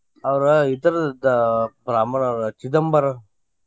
ಅವರು ಇತರ್ದ ಬ್ರಾಹ್ಮಣರು ಚಿದಂಬರಂ.